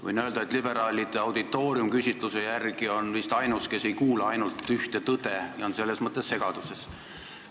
Võin öelda, et liberaalide auditoorium on küsitluste järgi vist ainus, kes ei kuula ainult ühte tõde ja on selles mõttes segaduses.